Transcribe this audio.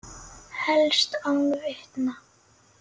Helst án vitna.